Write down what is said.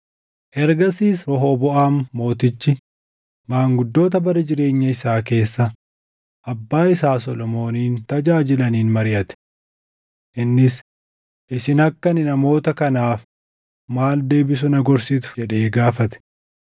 Ergasiis Rehooboʼaam Mootichi maanguddoota bara jireenya isaa keessa abbaa isaa Solomoonin tajaajilaniin mariʼate. Innis, “Isin akka ani namoota kanaaf maal deebisu na gorsitu?” jedhee gaafate.